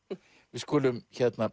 við skulum